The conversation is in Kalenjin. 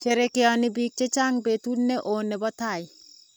Sherekeoni biik che chang betut ne oo ne bo tai.